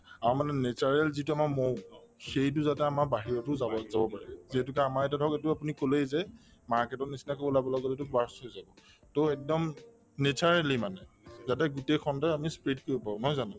আৰু মানে natural যিটো আমাৰ মৌ সেইটো যাতে আমাৰ বাহিৰতো যাব যাব পাৰে যিহেতুকে আমাৰ ইয়াতে ধৰক এইটো আপুনি কলেই যে market ৰ নিচিনাকৈ ওলাবলৈ গলেতো to একদম naturally মানে যাতে গোটেই খণ্ডই আমি spread কৰিব পাৰো নহয় জানো